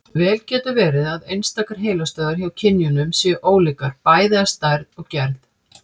Vel getur verið að einstakar heilastöðvar hjá kynjunum séu ólíkar, bæði að stærð og gerð.